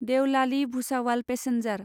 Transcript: Deolali Bhusawal passenger